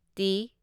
T